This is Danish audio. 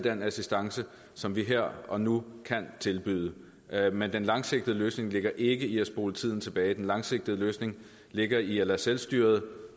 den assistance som vi her og nu kan tilbyde men den langsigtede løsning ligger ikke i at spole tiden tilbage den langsigtede løsning ligger i at lade selvstyret